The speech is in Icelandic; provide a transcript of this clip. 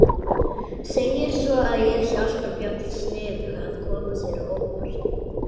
Segir svo að ég sé alltaf jafn sniðug að koma sér á óvart.